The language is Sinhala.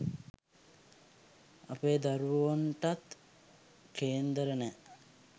අපේ දරුවොන්ටත් කේන්දර නෑ